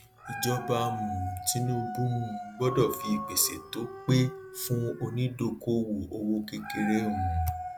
ìjọba um tinubu um gbọdọ fi ìpèsè tó pé fún onídókòwò owó òkèèrè um